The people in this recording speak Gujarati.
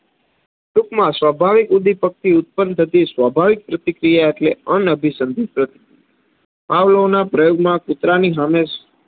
ટુંકમાં સ્વાભાવિક ઉદ્દીપકથી ઉત્પન્ન થતી સ્વાભાવિક પ્રતિક્રિયા ઍટલે અનઅભિસંધીત પ્રતિક્રિયા. પાવલોના પ્રયોગમાં કુતરાની સામે